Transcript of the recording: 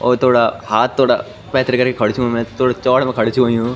और थोडा हाथ थोडा पैथर करिक खडू छू मै थोडा चोड़ मा खडू छ हुयुं ।